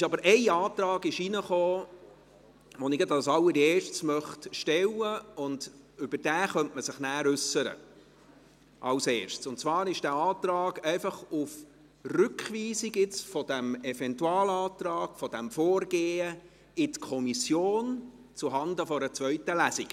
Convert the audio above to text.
Es ging aber ein Antrag ein, den ich jetzt gleich als Erstes stellen möchte und zu dem man sich nachher als Erstes äussern könnte, und zwar ist dies einfach ein Antrag auf Rückweisung des Eventualantrags und dieses Vorgehens in die Kommission zuhanden einer zweiten Lesung.